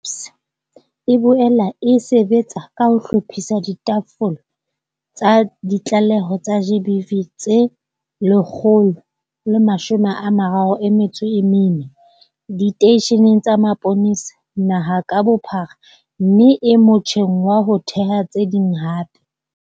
SAPS e boela e sebetsa ka ho hlophisa ditafole tsa ditlaleho tsa GBV tse 134 diteisheneng tsa sepolesa naha ka bophara mme e motjheng wa ho theha tse ding hape.